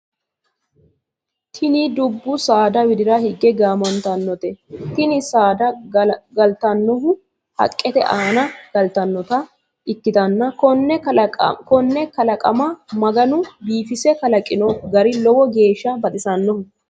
Tinni dubu saada widira hige gaamantanote. Tinni saada galtanohu haqete aanna galtanota ikitanna konne kalaqama maganu biifise kalaqino gari lowo geesha baxisanoho